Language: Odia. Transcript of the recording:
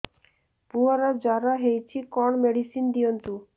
ପୁଅର ଜର ହଉଛି କଣ ମେଡିସିନ ଦିଅନ୍ତୁ